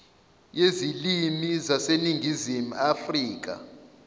yezilimi yaseningizimu afrika